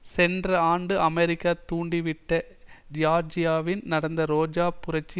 சென்ற ஆண்டு அமெரிக்கா தூண்டிவிட்ட ஜியார்ஜியாவில் நடந்த ரோஜா புரட்சி